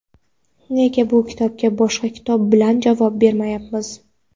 nega bu kitobga boshqa kitob bilan javob bermayapmiz.